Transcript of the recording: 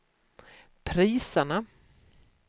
priserna